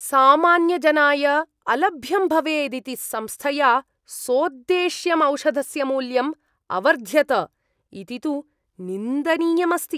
सामान्यजनाय अलभ्यं भवेदिति संस्थया सोद्देश्यम् औषधस्य मूल्यम् अवर्ध्यत इति तु निन्दनीयम् अस्ति।